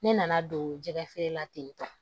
Ne nana don jɛgɛ feere la ten tɔ